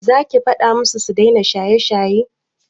Za ki faɗa musu su daina shaye-shaye?